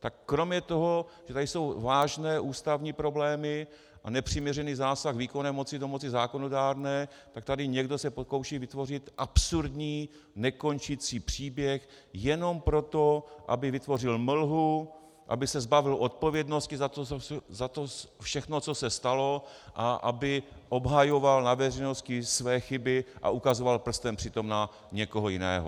Tak kromě toho, že tady jsou vážné ústavní problémy a nepřiměřený zásah výkonné moci do moci zákonodárné, tak tady se někdo pokouší vytvořit absurdní, nekončící příběh jenom proto, aby vytvořil mlhu, aby se zbavil odpovědnosti za to všechno, co se stalo, a aby obhajoval na veřejnosti své chyby a ukazoval prstem přitom na někoho jiného.